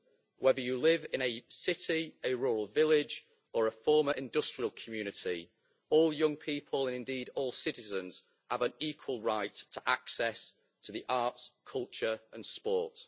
Whether you live in a city, a rural village or a former industrial community, all young people and, indeed, all citizens have an equal right to access to the arts, culture and sport.